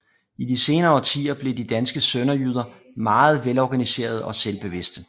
I de senere årtier blev de danske sønderjyder meget velorganiserede og selvbevidste